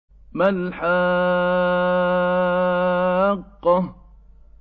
مَا الْحَاقَّةُ